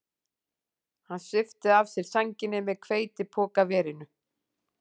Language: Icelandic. Hann svipti af sér sænginni með hveitipokaverinu